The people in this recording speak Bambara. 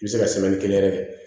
I bɛ se ka yɛrɛ